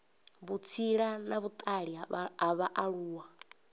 vhutsila na vhutali ha vhaaluwa